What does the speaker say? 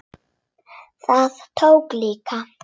Það tókst líka.